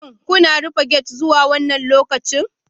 Shin kuna rufe gate zuwa wannan lokacin?